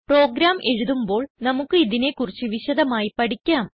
programme എഴുതുമ്പോൾ നമുക്ക് ഇതിനെ കുറിച്ച് വിശദമായി പഠിക്കാം